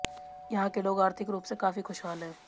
यहां के लोग आर्थिक रूप से काफी खुशहाल हैं